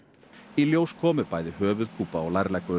í ljós komu bæði höfuðkúpa og